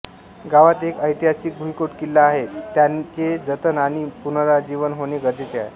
गावात एक ऐतहासिक भुईकोट किल्ला आहे त्याचे जतन आणि पुनाराजीवन होणे गरजेचे आहे